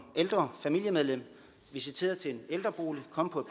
ældre familiemedlem visiteret til en ældrebolig komme på